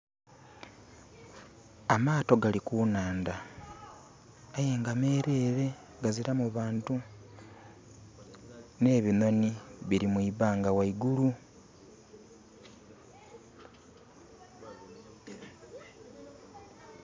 Amaato gali ku nhandha, aye nga mereere, gazilamu bantu. N'ebinhonhi bili mu ibanga ghaigulu.